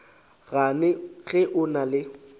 gane ge o na le